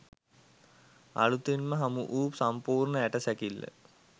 අලුතින්ම හමු වූ සම්පූර්ණ ඇටසැකිල්ල